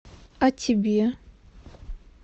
а тебе